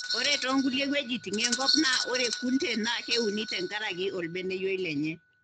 Ore too nkulie wuejitin enkop naa ore kunde naa keuni tenkaraki orbeneyio lenye.